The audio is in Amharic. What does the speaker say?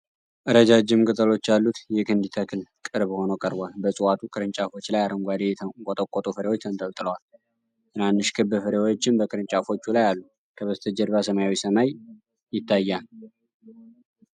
ረጃጅም ቅጠሎች ያሉት የክንዲ ተክል ቅርብ ሆኖ ቀርቧል። በእጽዋቱ ቅርንጫፎች ላይ አረንጓዴ፣ የተንቆጠቆጡ ፍሬዎች ተንጠልጥለዋል። ትናንሽ ክብ ፍሬዎችም በቅርንጫፎቹ ላይ አሉ። ከበስተጀርባ ሰማያዊ ሰማይ ይታያል።